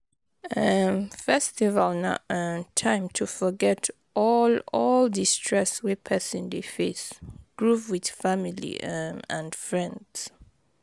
um Festival na um time to forget all all di stress wey person dey face, groove with family um and friends